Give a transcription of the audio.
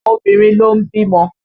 Obìnrin ló ń bímọ